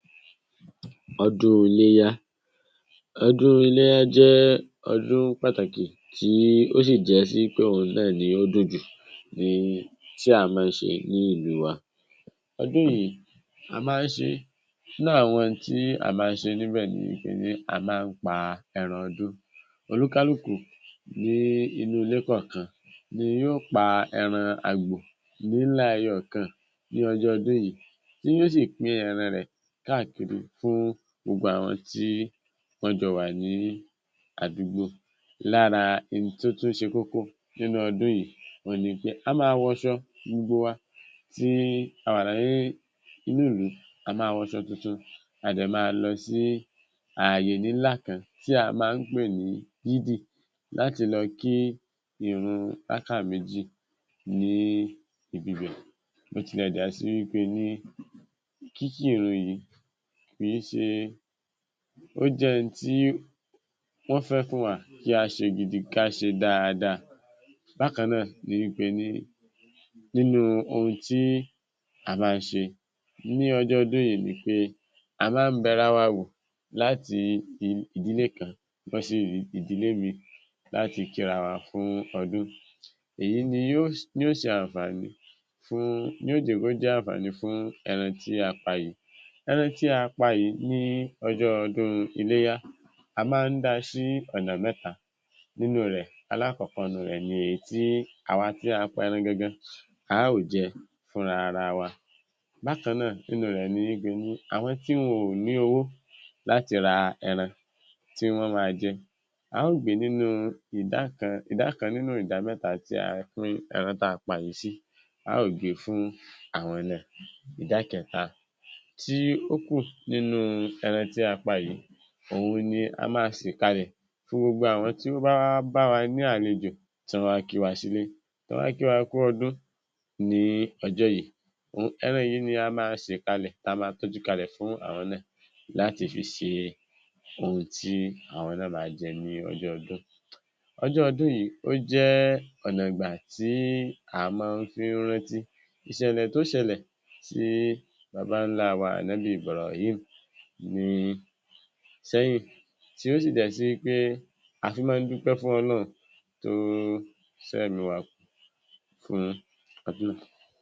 Ọdún Iléyá. Ọdún Iléyá jẹ́ ọdún pàtàkì tí ó sì jẹ́ sí pé òun náà ni ó dunjú tí a máa ń ṣe ní ìlú wa. Ọdún yìí a máa ń ṣe. Nínú àwọn tí a máa ń ṣe níbẹ̀ ni pé a máa ń pa ẹran ọdún. Oníkálùkù ní inú ilé kọ̀ọ̀kan ni yóò pa ẹran àgbò ńlá kan ní ọjọ́ ọdún yìí, tí yóò sì pín ẹran rẹ̀ káàkiri fún gbogbo àwọn tí wọ́n jọ wà ní àdúgbò. Lára ohun tó tún ṣe kókó nínú ọdún yìí ni pé a máa wọ aṣọ, gbogbo wa tí a wà ní inú ìlú, a máa wọ aṣọ tuntun. A máa lọ sí ààyè kan tí a máa ń pè ní yídí láti lọ kí irun bà ká méjì níbẹ̀. Bó tilẹ̀ jẹ́ pé kíkí irun yìí kì í ṣe, ó jẹ́ pé wọn fẹ́ ká ṣe gidi, ká ṣe dáadáa. Bákan náà ni pé nínú ohun tí a máa ń ṣe ní ọjọ́ ọdún yìí ni pé a máa ń bẹ̀rẹ̀ wa wò láti idílé kan lọ sí idílé míì láti kìrìà wá fún ọdún. Èyí ni yóò jẹ́ ànfàní, yóò jẹ́ ànfàní fún ẹran tí a pa yìí. Ẹran tí a pa yìí ní ọjọ́ ọdún Iléyà, a máa ń pín sí ọ̀nà mẹ́ta nínú rẹ̀. Àkọ́kọ́ inú rẹ̀ ni èyí tí awa tí a pa ẹran gangan, a ó jẹ́ fún ara wa. Bákan náà, nínú rẹ̀ ni pé àwọn tí wọ́n ò ní owó láti ra ẹran tí wọ́n máa jẹ́, a ó gbé nínú idá kan, idá kan nínú ìdá mẹ́ta tí a pín ẹran tí a pa yìí sí, a ó gbé fún àwọn náà. Idá kẹta tí ó kù nínú ẹran tí a pa yìí, ohun tí a máa ṣékálẹ̀ fún gbogbo àwọn tí ó bá wá, bá wa ní àlejò, tí wọn wá sí ilé wa. Àwọn tó wá kí wá kú ọdún ní ọjọ́ yìí, ẹran yìí ni a máa ṣékálẹ̀, tí a máa tọ́jú ṣékálẹ̀ fún wọn láti fi ṣe ohun tí wọn máa jẹ ní ọjọ́ ọdún. Ọjọ́ ọdún yìí ó jẹ́ ọ̀nà ìgbà tí a máa ń fi rántí iṣẹlẹ̀ tó ṣẹlẹ̀ sí bàbá ńlá wa, Ànọ́bì Ibràhím ní sẹ́yìn, tí ó sì jẹ́ pé a fi máa ń dúpẹ́ fún Ọlọ́run tó ṣe ẹ̀mí wá kú fún ọdún.